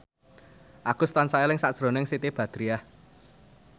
Agus tansah eling sakjroning Siti Badriah